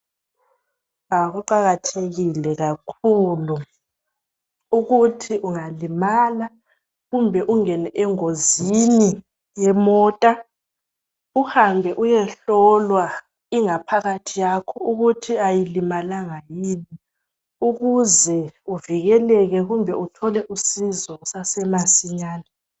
Kuqakathekile kakhulu ukuthi ungalimala kumbe ungene engozini yemota uhambe uyehlolwa ingaphakathi yakho ukuthi ayilimalanga yini ukuze uvikeleke kumbe uthole usizo kusasemasinyane.